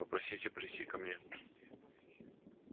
попросите прийти ко мне